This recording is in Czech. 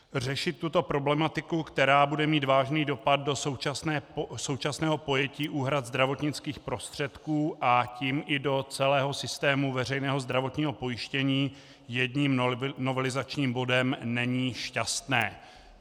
Řešit tuto problematiku, která bude mít vážný dopad do současného pojetí úhrad zdravotnických prostředků, a tím i do celého systému veřejného zdravotního pojištění, jedním novelizačním bodem není šťastné.